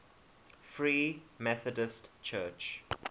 free methodist church